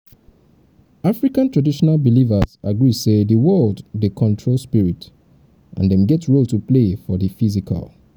african traditional belivers agree sey di world dey controlled spirit and dem get role to play for di physical